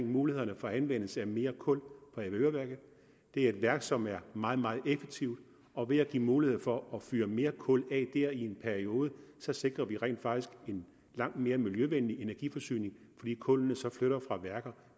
mulighederne for anvendelse af mere kul på avedøreværket det er et værk som er meget meget effektivt og ved at give mulighed for at fyre mere kul af der i en periode sikrer vi rent faktisk en langt mere miljøvenlig energiforsyning fordi kullene så flytter fra værker